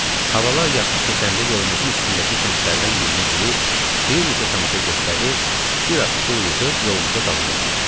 Havalar yaxşı keçəndə yolumuzun üstündəki kəndlərdən birinə girib, bir neçə tamaşa göstərir, bir az pul yığıb yolumuza davam edirdik.